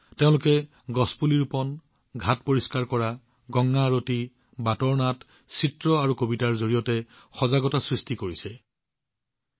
তেওঁলোকে গছপুলি ৰোপণ ঘাট পৰিষ্কাৰ কৰা গংগা আৰতি পথৰ নাটক চিত্ৰাংকন আৰু কবিতাৰ জৰিয়তে সজাগতা বিয়পোৱা কাৰ্যত নিয়োজিত হৈ আছে